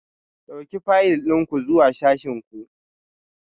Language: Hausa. Ɗauki fayil ɗin ku zuwa sashin ku